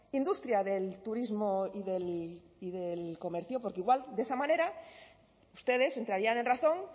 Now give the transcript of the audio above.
industria del turismo y del comercio porque igual de esa manera ustedes entrarían en razón